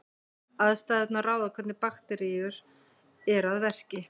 Aðstæðurnar ráða hvernig bakteríur eru að verki.